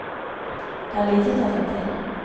Det er lite å ta seg til.